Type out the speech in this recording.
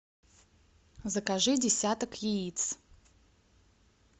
закажи десяток яиц